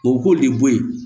O k'o de bɔ yen